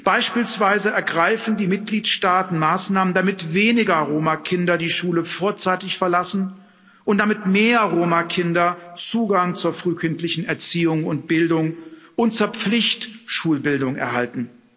Beispielsweise ergreifen die Mitgliedstaaten Maßnahmen, damit weniger Roma Kinder die Schule vorzeitig verlassen und damit mehr Roma Kinder Zugang zur frühkindlichen Erziehung und Bildung und zur Pflicht Schulbildung erhalten.